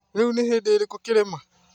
Rĩu nĩ hĩndĩ ĩrĩkũ kĩrĩma